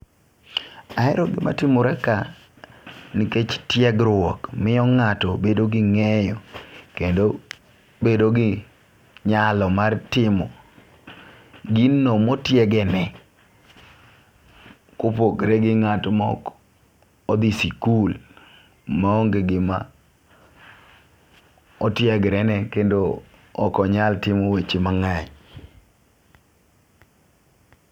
Ahero gima timore ka nikech tiegruok miyo ng'ato bedo gi ng'eyo kendo bedo gi nyalo mar timo gino motiege ne . Kopogre gi ngat mok odhi sikul maonge gima otiegre ne kendo ok onyal timo weche mang'eny.